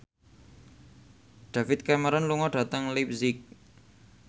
David Cameron lunga dhateng leipzig